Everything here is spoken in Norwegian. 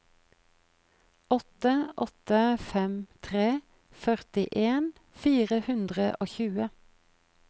åtte åtte fem tre førtien fire hundre og tjue